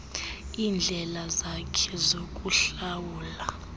iindlela zakhe zokuhlawula